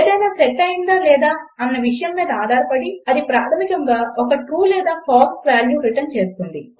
ఏదయినా సెట్ అయిందా లేదా అన్న విషయం మీద ఆధారపడి ఇది ప్రాధమికంగా ఒక ట్రూ లేదా ఫాల్స్ వాల్యూ రిటర్న్ చేస్తుంది